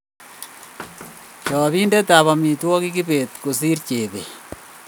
Chapindet ab amitwogik kibet Kosir Jebet